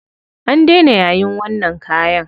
An daina yayin wannan kayan.